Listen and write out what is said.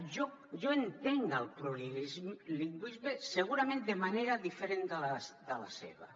eh jo entenc el plurilingüisme segurament de manera diferent de la seva